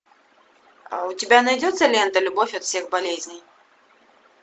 у тебя найдется лента любовь от всех болезней